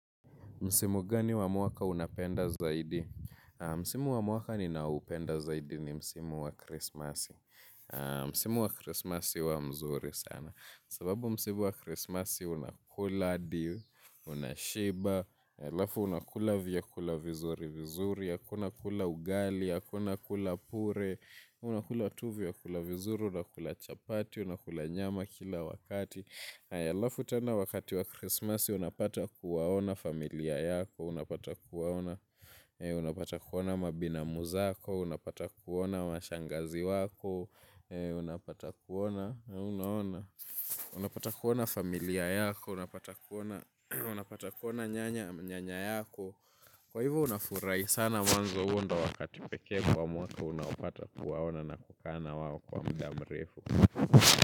Msimu gani wa mwaka unapenda zaidi? Msimu wa mwaka ninaupenda zaidi ni msimu wa Christmas. Msimu wa krismasi uwa mzuri sana. Sababu msimu wa krismasi unakula adi, unashiba, alafu unakula vyakula vizuri vizuri, akuna kula ugali, akuna kula pure, unakula tu vyakula vizuri, unakula chapati, unakula nyama kila wakati. Aya lafutena wakati wa krismasi unapata kuwaona familia yako. Unapata kuwaona mabinamu zako. Unapata kuona mashangazi wako. Unapata kuwaona familia yako. Unapata kuwaona nyanya yako. Kwa hivo unafurai sana mwanzo huo nda wakati pekee kwa mwaka. Unapata kuwaona na kukaa na wao kwa mda mrefu.